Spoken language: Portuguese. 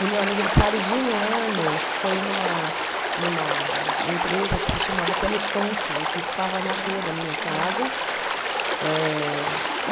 No meu aniversário de um ano, foi numa numa empresa que se chamava Telefunken, que ficava na rua da minha casa eh.